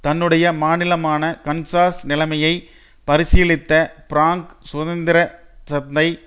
தன்னுடைய மாநிலமான கன்சாஸ் நிலைமையை பரிசீலித்த பிராங்க் சுதந்திர சந்தை